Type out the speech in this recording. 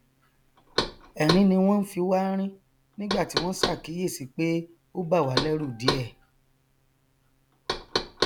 ẹrín ni wọn fi wá rín nígbàtí wọn ṣàkíyèsí pé ó bàwá lẹrù díẹ